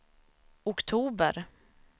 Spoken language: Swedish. oktober